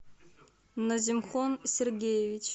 назимхон сергеевич